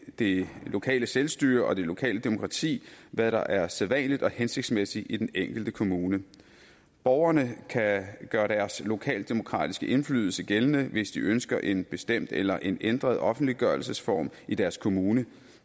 det lokale selvstyre og det lokale demokrati hvad der er sædvanligt og hensigtsmæssigt i den enkelte kommune borgerne kan gøre deres lokaldemokratiske indflydelse gældende hvis de ønsker en bestemt eller en ændret offentliggørelsesform i deres kommune